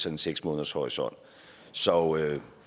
en seks månedershorisont så